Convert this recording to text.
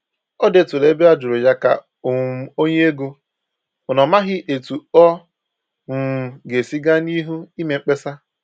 Ọ dèturu ebe a jụrụ̀ ya ka um o nye égo, mana ọ màghị etu ọ um ga-esi gaa n'ihu ime mkpesa.